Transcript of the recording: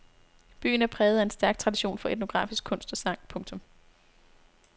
Byen er præget af en stærk tradition for etnografisk kunst og sang. punktum